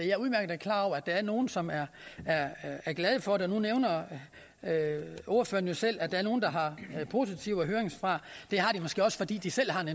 er udmærket klar over at der er nogle som er glade for det nu nævner ordføreren jo selv at der er nogle der har afgivet positive høringssvar det har de måske også fordi de selv har en